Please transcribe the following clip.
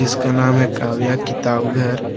इसका नाम है काव्या किताब घर।